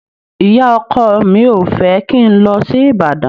Ìyá-ọkọ mi ò fẹ́ kí n lọ sí Ìbàdàn.